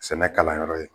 Sɛnɛ kalan yɔrɔ ye